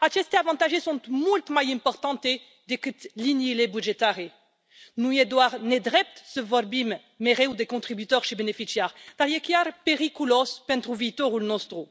Aceste avantaje sunt mult mai importante decât liniile bugetare. Nu e doar nedrept să vorbim mereu de contribuitori și beneficiari, dar e chiar periculos pentru viitorul nostru.